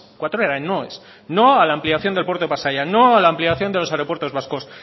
cuatro eran noes no a la ampliación del puerto de pasaia no a la ampliación de los aeropuertos vascos